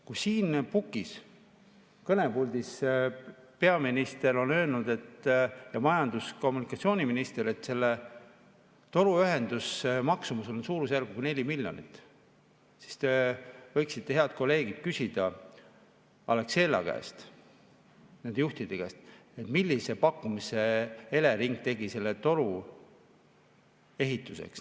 Kui siin pukis, kõnepuldis peaminister ning majandus- ja kommunikatsiooniminister on öelnud, et selle toruühenduse maksumus on suurusjärgus 4 miljonit, siis te võiksite, head kolleegid, küsida Alexela käest, nende juhtide käest, millise pakkumise tegi neile Elering selle toru ehituseks.